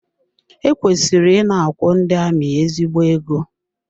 E kwesịrị ị na-akwụ ndị amị ezigbo ego.